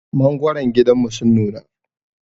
Mangwaran gidanmu sun nuna.